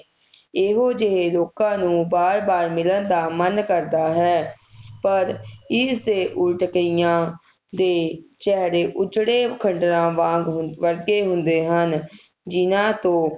ਇਹੋ ਜਿਹੇ ਲੋਕਾਂ ਨੂੰ ਬਾਰ ਬਾਰ ਮਿਲਣ ਦਾ ਮਨ ਕਰਦਾ ਹੈ ਪਰ ਇਸ ਦੇ ਉਲਟ ਕਈਆਂ ਦੇ ਚੇਹਰੇ ਉੱਜੜੇ ਖੰਡਰਾਂ ਵਾਂਗ ਹਮ ਵਰਗੇ ਹੁੰਦੇ ਹਨ ਜਿਨ੍ਹਾਂ ਤੋਂ